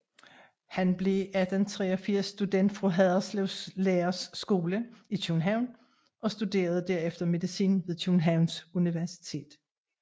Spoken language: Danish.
Han blev i 1883 student fra Haderslev Læreres Skole i København og studerede derefter medicin ved Københavns Universitet